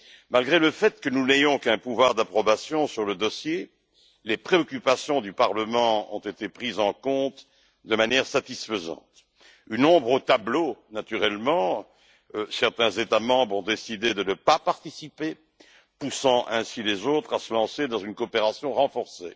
Bien que nous n'ayons aucun pouvoir d'approbation sur le dossier, les préoccupations du Parlement ont été prises en compte de manière satisfaisante. Une ombre au tableau, naturellement certains États membres ont décidé de ne pas participer, poussant ainsi les autres à se lancer dans une coopération renforcée.